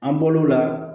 An bol'o la